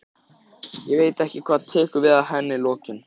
Ég veit ekki hvað tekur við að henni lokinni.